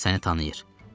O qız səni tanıyır.